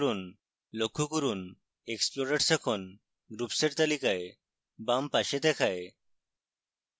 লক্ষ্য করুন explorers এখন groups এর তালিকায় বাম পাশে দেখায়